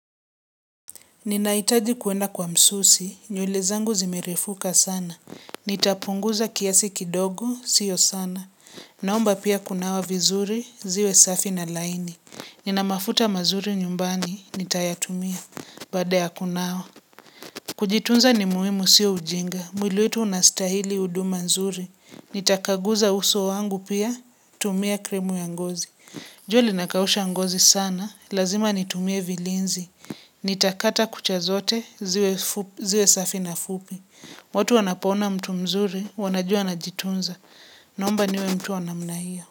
Ninaitaji kuenda kwa msusi, nywele zangu zimerefuka sana. Nitapunguza kiasi kidogo, sio sana. Naomba pia kunawa vizuri, ziwe safi na laini. Ninamafuta mazuri nyumbani, nitayatumia, baada kunawa. Kujitunza ni muhimu sio ujinga, mwili wetu unastahili huduma nzuri. Nitakaguza uso wangu pia, tumia kremu ya ngozi. Jua linakausha ngozi sana, lazima nitumie vilinzi. Ni takata kucha zote, ziwe safi na fupi. Watu wanapoona mtu mzuri, wanajua na jitunza. Naomba niwe mtu wa namna hio.